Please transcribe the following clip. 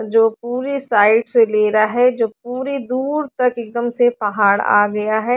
जो पूरे साइड से ले रहा है जो पूरे दूर तक एकदम से पहाड़ आ गया है।